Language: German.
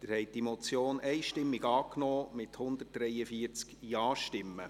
Sie haben die Motion einstimmig angenommen, mit 143 Ja-Stimmen.